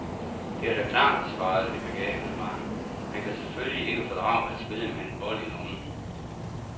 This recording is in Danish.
Det er da klart, svarede det begavede barn, han kan selvfølgelig ikke fordrage at spille med en bold i lommen.